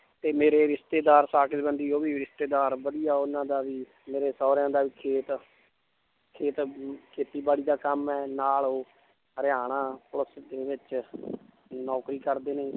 ਤੇ ਮੇਰੇ ਰਿਸਤੇਦਾਰ ਸਾਕ ਸੰਬੰਧੀ ਉਹ ਵੀ ਰਿਸਤੇਦਾਰ ਵਧੀਆ ਉਹਨਾਂ ਦਾ ਵੀ ਮੇਰੇ ਸਹੁਰਿਆਂ ਦਾ ਵੀ ਖੇਤ ਖੇਤ ਖੇਤੀਬਾੜੀ ਦਾ ਕੰਮ ਹੈ ਨਾਲ ਉਹ ਹਰਿਆਣਾ ਪੁਲਿਸ ਦੇ ਵਿੱਚ ਨੌਕਰੀ ਕਰਦੇ ਨੇ